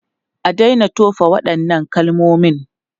A daina tofa waɗannan kalmomin!